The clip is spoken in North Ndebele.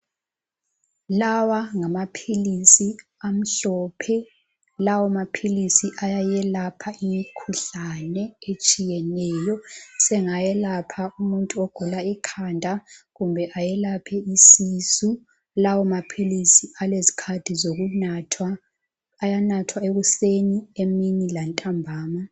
Lawa ngamaphilisi amhlophe. Lawamaphilisi ayayelapha imikhuhlane etshiyeneyo. Asengayelapha umuntu ogula ikhanda, kumbe ayelaphe isisu. Lawamaphilisi alezikhathi zokunathwa. Ayanathwa ekuseni, emini lantambama